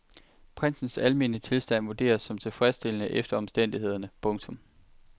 Prinsens almene tilstand vurderes som tilfredsstillende efter omstændighederne. punktum